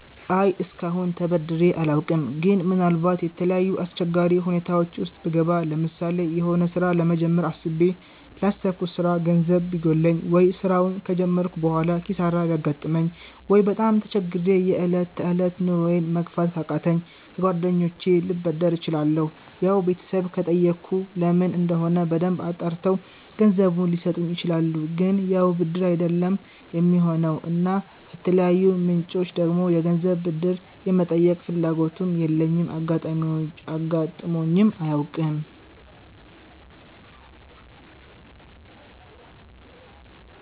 አይ እስከአሁን ተበድሬ አላውቅም ግን ምናልባት የተለያዩ አስቸጋሪ ሁኔታወች ዉስጥ ብገባ ለምሳሌ የሆነ ስራ ለመጀመር አስቤ ላሰብኩት ስራ ገንዘብ ቢጎለኝ፣ ወይ ስራውን ከጀመርኩ በሆላ ኪሳራ ቢያጋጥመኝ፣ ወይ በጣም ተቸግሬ የ እለት ተእለት ኑሮየን መግፋት ካቃተኝ ከ ጓደኞቸ ልበደር እችላለሁ ያው ቤተሰብ ከጠየኩ ለምን እንደሆነ በደንብ አጣርተው ገንዘቡን ሊሰጡኝ ይችላሉ ግን ያው ብድር አይደለም የሚሆነው እና ከተለያዩ ምንጮች ደግሞ የገንዘብ ብድር የመጠየቅ ፍላጎቱም የለኝም አጋጥሞኝም አያውቅም